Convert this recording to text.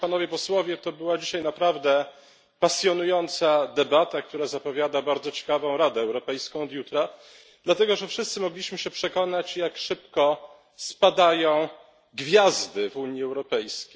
To była dzisiaj naprawdę pasjonująca debata, która zapowiada bardzo ciekawą Radę Europejską od jutra, dlatego że wszyscy mogliśmy się przekonać jak szybko spadają gwiazdy w Unii Europejskiej.